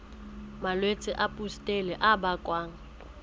malwetse a pustule a bakwang